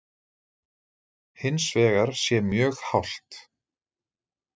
Hins vegar sé mjög hált